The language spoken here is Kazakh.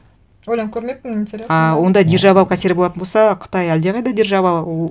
ойланып көрмеппін интересно а ондай державалық әсері болатын болса қытай әлдеқайда держава ол